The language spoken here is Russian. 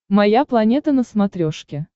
моя планета на смотрешке